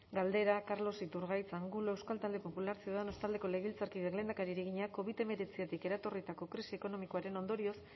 galdera carlos iturgaiz angulo euskal talde popularra ciudadanos taldeko legebiltzarkideak lehendakariari egina covid hemeretzitik eratorritako krisi ekonomikoaren ondorioz